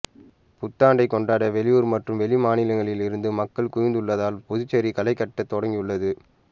புத்தாண்டை கொண்டாட வெளியூர் மற்றும் வெளிமாநிலங்களில் இருந்து மக்கள் குவிந்துள்ளதால் புதுச்சேரி களைகட்டத் தொடங்கியுள்ளது